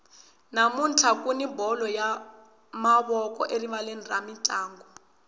namuntlha kuni bolo ya mavoko erivaleni ra mintlangu